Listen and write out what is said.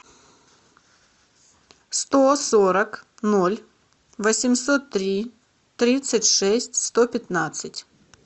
сто сорок ноль восемьсот три тридцать шесть сто пятнадцать